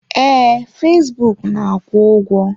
Ee, fesbụụk na-akwụ ụgwọ.